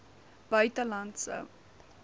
buitelandse